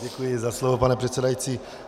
Děkuji za slovo, pane předsedající.